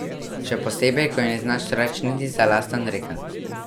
Še posebej, ko ji ne znaš reč niti za lasten rekelc.